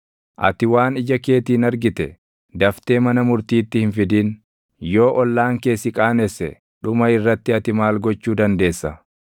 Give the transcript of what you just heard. daftee mana murtiitti hin fidin; yoo ollaan kee si qaanesse, dhuma irratti ati maal gochuu dandeessa?